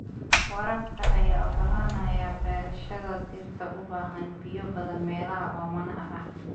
Waraabka ayaa ogolaanaya beerashada dhirta u baahan biyo badan meelaha oomanaha ah.